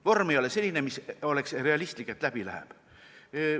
Vorm ei ole selline, mis oleks realistlik, et läbi läheb.